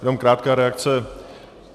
Jenom krátká reakce.